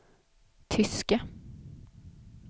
tyska